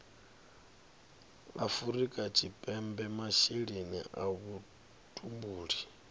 afrika tshipembe masheleni a vhutumbuli